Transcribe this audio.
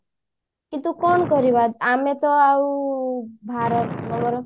କିନ୍ତୁ କଣ କରିବା ଆମେ ତ ଆଉ ଭାରତ